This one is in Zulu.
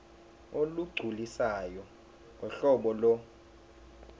olugculisayo ngohlobo lo